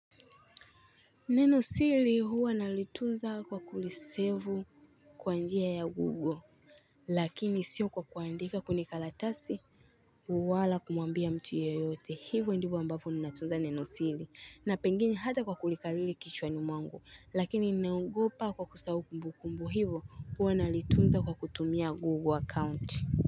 Neno sili huwa nalitunza kwa kulisevu kwa njia ya google Lakini sio kwa kuandika kwenye karatasi Uwala kumuambia mtu yoyote hivyo ndivyo ambavyo ninatunza neno siri na pengine hata kwa kulikariri kichwani mwangu lakini ninaogopa kwa kusahau kumbukumbu hivyo huwa nalitunza kwa kutumia google akaunti.